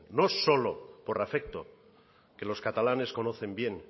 no solo por afecto que los catalanes conocen bien